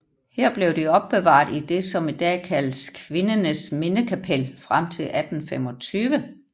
Her blev de opbevaret i det som i dag kaldes Kvinnenes Minnekapell frem til 1825